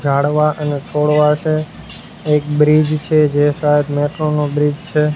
ઝાડવા અને છોડવા છે એક બ્રિજ છે જે શાયદ મેટ્રો નો બ્રિજ છે.